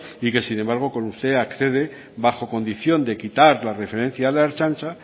y que sin embargo con usted accede bajo condición de quitar la referencia a la ertzaintza